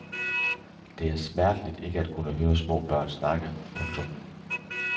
Det er smerteligt ikke at kunne høre små børn snakke. punktum